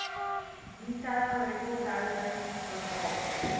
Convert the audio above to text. detail rekordhouding bepaal